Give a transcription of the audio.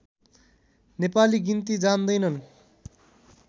नेपाली गिन्ती जान्दैनन्